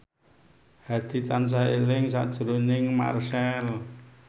Hadi tansah eling sakjroning Marchell